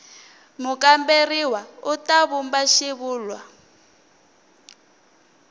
mukamberiwa u ta vumba xivulwa